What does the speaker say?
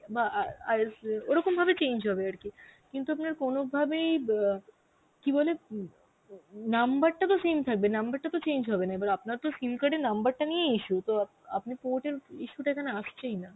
বা আ~ আর ওরকম ভাবে change হবে আর কি, কিন্তু আপনার কোনভাবেই অ্যাঁ কি বলে উম number টা তো same থাকবে number টা তো change হবে না, এবার আপনার তো SIM card এর number টা নিয়েই issue তো আপ~ আপনি port এর issue টা এখানে আসছেই না.